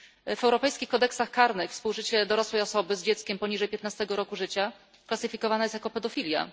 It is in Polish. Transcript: W europejskich kodeksach karnych współżycie dorosłej osoby z dzieckiem poniżej 15 roku życia klasyfikowane jest jako pedofilia.